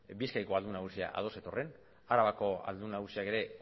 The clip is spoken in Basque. bizkaiko aldun nagusia ados zetorren arabako aldun nagusiak ere